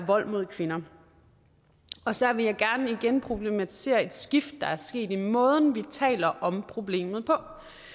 vold mod kvinder og så vil jeg gerne igen problematisere et skift der er sket i måden vi taler om problemet på